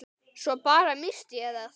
Svo bara. missti ég það.